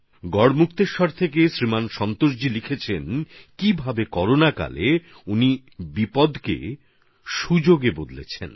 গড়মুক্তেশ্বর থেকে শ্রীযুক্ত সন্তোষজি লিখেছেন কীভাবে তিনি করোনা সময়ের বিপর্যয়কে সুযোগে পরিবর্তিত করেছেন